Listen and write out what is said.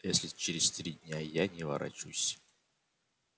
если через три дня я не ворочусь